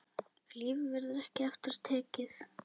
Lífið verður ekki aftur tekið.